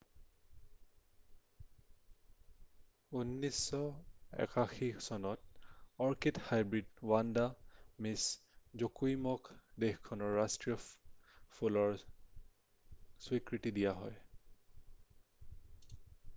1981 চনত orchid hybrid Vanda Miss জকুইমক দেশখনৰ ৰাষ্ট্ৰীয় ফুলৰ স্বীকৃতি দিয়া হয়